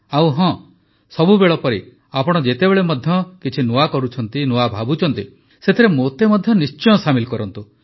ଆଉ ହଁ ସବୁବେଳ ପରି ଆପଣ ଯେତେବେଳେ ମଧ୍ୟ କିଛି ନୂଆ କରୁଛନ୍ତି ନୂଆ ଭାବୁଛନ୍ତି ସେଥିରେ ମୋତେ ମଧ୍ୟ ନିଶ୍ଚିତ ସାମିଲ୍ କରନ୍ତୁ